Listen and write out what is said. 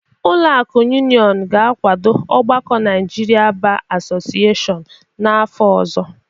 Ụlọ akụ Union ga-akwado ọgbakọ Naijiria Ba Asọcịyeshiọñ n'afọ ọzọ